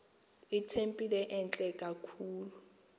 itempile entle kakhulu